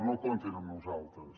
no comptin amb nosaltres